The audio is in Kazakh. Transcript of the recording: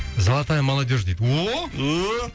золотая молодежь дейді ооо